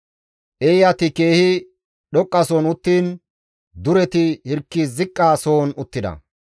Eeyati keehi dhoqqasohon uttiin dureti hirki ziqqa sohon uttida.